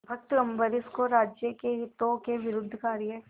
भक्त अम्बरीश को राज्य के हितों के विरुद्ध कार्य